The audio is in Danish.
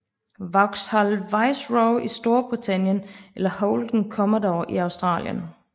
Vauxhall Viceroy i Storbritannien eller Holden Commodore i Australien